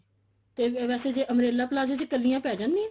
ਤੇ ਵੈਸੇ ਜੇ umbrella palazzo ਚ ਕਲੀਆਂ ਪੈ ਜਾਂਦੀਆਂ ਨੇ